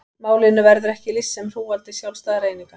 Málinu verður ekki lýst sem hrúgaldi sjálfstæðra eininga.